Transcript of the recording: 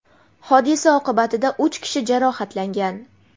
Hodisa oqibatida uch kishi jarohatlangan.